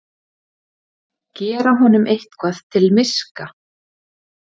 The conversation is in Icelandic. Gera honum eitthvað til miska!